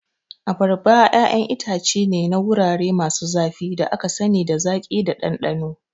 Abarba ƴaƴan itace ne na wurare masu zafi da aka sani da zaƙi da ɗanɗano.